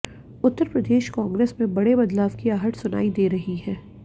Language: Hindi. उत्तर प्रदेश कांग्रेस में बड़े बदलाव की आहट सुनाई दे रही है